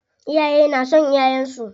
Iyaye na son ƴaƴansu.